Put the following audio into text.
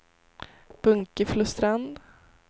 Bunkeflostrand